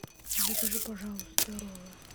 закажи пожалуйста роллы